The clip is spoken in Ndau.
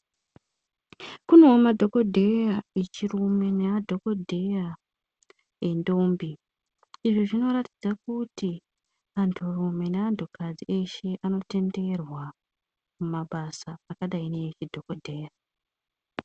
Kunoo madhogodheya echirume nemadhogodheya endombi. Izvi zvinoratidza kuti anturume neantukadzi eshe anotenderwa mumabasa akadai neezvidhogodheya.